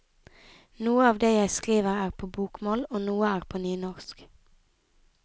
Noe av det jeg skriver er på bokmål, og noe er på nynorsk.